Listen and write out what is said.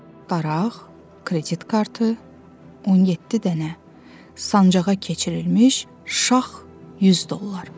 Daraq, kredit kartı, 17 dənə sancağa keçirilmiş şax 100 dollar.